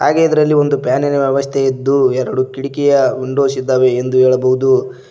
ಹಾಗೆ ಇದರಲ್ಲಿ ಇಂದು ಫ್ಯಾನಿನ ವ್ಯವಸ್ಥೆ ಇದ್ದು ಎರಡು ಕಿಟಕಿಯ ವಿಂಡೋಸ್ ಇದಾವೆ ಎಂದು ಹೇಳಬಹುದು.